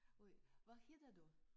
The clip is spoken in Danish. Og hvad hedder du?